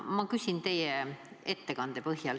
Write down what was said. Ma küsin teie ettekande põhjal.